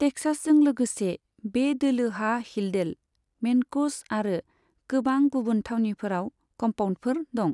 टेक्सासजों लोगोसे, बे दोलोहा हिल्डेल, मेनक'स आरो गोबां गुबुन थावनिफोराव कम्पाउन्दफोर दं।